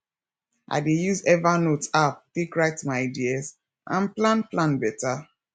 i dey use evernote app take write my ideas and plan plan beta